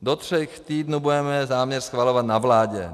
Do tří týdnů budeme záměr schvalovat na vládě.